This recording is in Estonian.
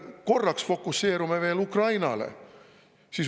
Paneme korraks veel fookuse Ukrainale.